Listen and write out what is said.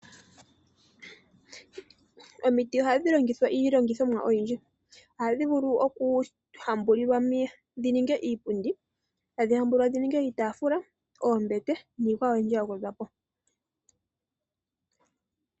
Omiti oadhi longithwa iilongithomwa oyindji ohadhi vulu oku hambulilwa dhi ninge iipundi, tadhiymbulwa dhi ninge iitafula, oombete niikwawo oyindji ya gwedhwapo.